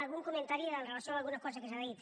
algun comentari amb relació a alguna cosa que s’ha dit